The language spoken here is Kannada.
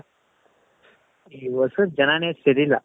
ಈ ಹೊಸೂರ್ ಜನನೆ ಸರಿ ಇಲ್ಲ .